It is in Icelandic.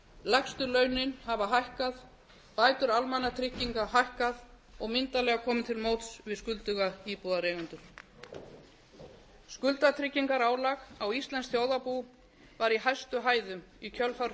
lægstu launin hafa hækkað bætur almannatrygginga hækkað og myndarlega komið til móts við skulduga íbúðareigendur skuldatryggingarálag á íslenskt þjóðarbú var í hæstu hæðum í kjölfar